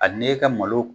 A n'e ka malo